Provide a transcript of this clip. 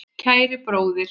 Kæri bróðir.